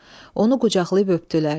Onu qucaqlayıb öpdülər.